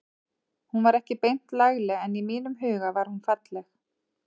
Hún var ekki beint lagleg en í mínum huga var hún falleg.